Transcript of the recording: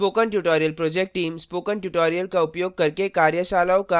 spoken tutorial project team spoken tutorial का उपयोग करके कार्यशालाओं का आयोजन करती है